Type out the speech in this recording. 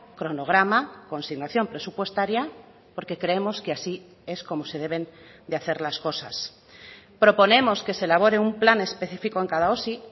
cronograma consignación presupuestaria porque creemos que así es como se deben de hacer las cosas proponemos que se elabore un plan específico en cada osi